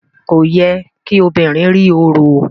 Kò yẹ kí obìnrin rí orò.